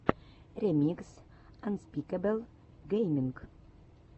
ремикс анспикэбл гейминг